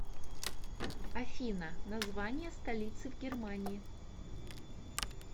афина название столицы в германии